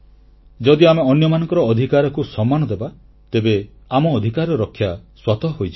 ଯଦି ଆମେ ଅନ୍ୟମାନଙ୍କର ଅଧିକାରକୁ ସମ୍ମାନ ଦେବା ତେବେ ଆମ ଅଧିକାରର ରକ୍ଷା ସ୍ୱତଃ ହୋଇଯିବ